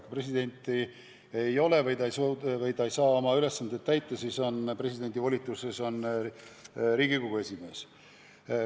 Kui presidenti ei ole või kui ta ei saa oma ülesandeid täita, siis täidab presidendi kohustusi Riigikogu esimees.